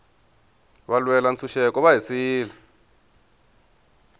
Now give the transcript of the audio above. valwela ntshuxeko va hi siyile